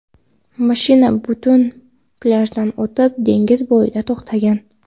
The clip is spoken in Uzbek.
Mashina butun plyajdan o‘tib, dengiz bo‘yida to‘xtagan.